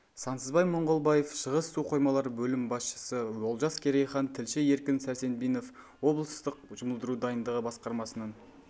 сансызбай мұңғылбаев шығыс су қоймалары бөлім басшысы олжас керейхан тілші еркін сәрсенбинов облыстық жұмылдыру дайындығы басқармасының